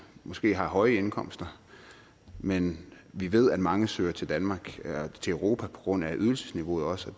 måske har høje indkomster men vi ved at mange søger til danmark til europa på grund af ydelsesniveauet også og